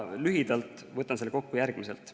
Lühidalt võtan selle kokku järgmiselt.